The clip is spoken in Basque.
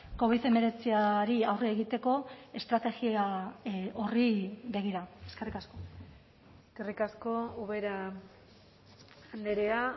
covid hemeretziari aurre egiteko estrategia horri begira eskerrik asko eskerrik asko ubera andrea